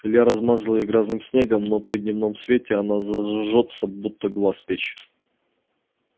илья размазал её грязным снегом но при дневном свете она зажжётся будет глаз печь